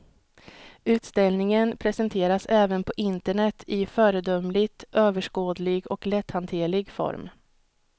Utställningen presenteras även på internet i föredömligt överskådlig och lätthanterlig form.